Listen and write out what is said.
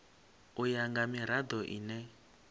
u ya nga mirado ine